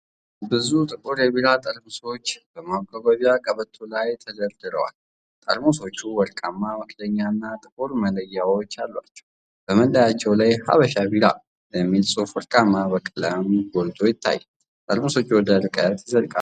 ብዙ ጥቁር የቢራ ጠርሙሶች በማጓጓዣ ቀበቶ ላይ ተደርድረዋል። ጠርሙሶቹ ወርቃማ መክደኛዎች እና ጥቁር መለያዎች አሏቸው። በመለያዎቹ ላይ "ሃበሻ ቢራ" የሚል ጽሑፍ በወርቃማ ቀለም ጎልቶ ይታያል። ጠርሙሶቹ ወደ ርቀት ይዘልቃሉ።